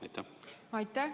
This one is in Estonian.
Aitäh!